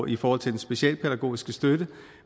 i forhold til den specialpædagogiske støtte